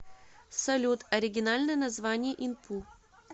салют оригинальное название инпу